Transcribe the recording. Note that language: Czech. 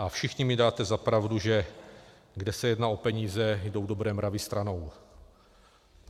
A všichni mi dáte za pravdu, že kde se jedná o peníze, jdou dobré mravy stranou.